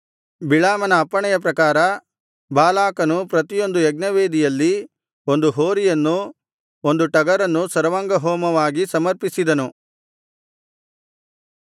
ಬಿಳಾಮನ ಅಪ್ಪಣೆಯ ಪ್ರಕಾರ ಬಾಲಾಕನು ಪ್ರತಿಯೊಂದು ಯಜ್ಞ ವೇದಿಯಲ್ಲಿ ಒಂದು ಹೋರಿಯನ್ನೂ ಒಂದು ಟಗರನ್ನೂ ಸರ್ವಾಂಗಹೋಮವಾಗಿ ಸಮರ್ಪಿಸಿದನು